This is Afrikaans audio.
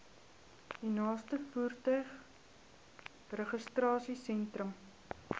u naaste motorvoertuigregistrasiesentrum